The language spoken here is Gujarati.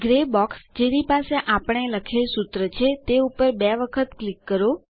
ગ્રે બોક્સ જેની પાસે આપણે લખેલ સૂત્ર છે તે ઉપર બે વખત ક્લિક કરો